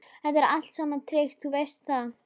Þetta er allt saman tryggt, þú veist það.